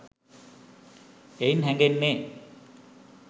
එයින් හැඟෙන්නේ